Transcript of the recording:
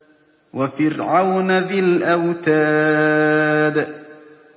وَفِرْعَوْنَ ذِي الْأَوْتَادِ